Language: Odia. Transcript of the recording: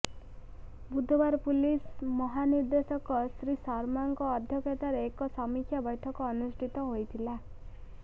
ବୁଧବାର ପୁଲିସ ମହାନିଦେ୍ର୍ଦଶକ ଶ୍ରୀ ଶର୍ମାଙ୍କ ଅଧ୍ୟକ୍ଷତାରେ ଏକ ସମୀକ୍ଷା ବୈଠକ ଅନୁଷ୍ଠିତ ହୋଇଥିଲା